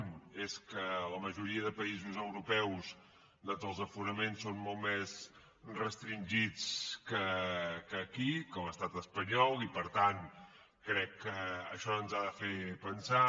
un és que a la majoria de països europeus doncs els aforaments són molt més restringits que aquí que a l’estat espanyol i per tant crec que això ens ha de fer pensar